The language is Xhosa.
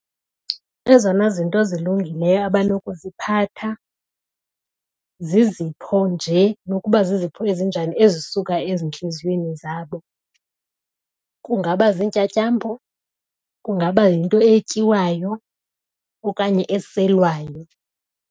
Ezona zinto zilungileyo abanokuziphatha zizipho nje nokuba zizipho ezinjani ezisuka ezintliziyweni zabo. Kungaba ziintyatyambo, kungaba yinto etyiwayo okanye eselwayo.